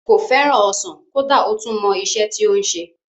Kò fẹ́ràn ọsàn kódà ó tún mọ isẹ́ tí ó ń se